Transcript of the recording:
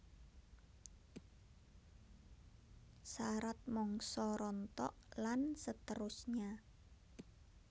Sarat mangsa rontok lan seterusnya